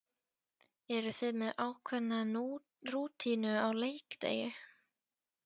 Eru þið með ákveðna rútínu á leikdegi?